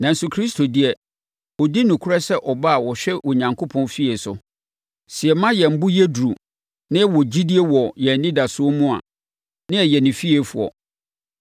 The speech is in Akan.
Nanso Kristo deɛ, ɔdi nokorɛ sɛ Ɔba a ɔhwɛ Onyankopɔn fie so. Sɛ yɛma yɛn bo yɛ duru na yɛwɔ gyidie wɔ yɛn anidasoɔ mu a, na yɛyɛ ne fiefoɔ.